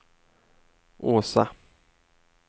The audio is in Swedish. Åsa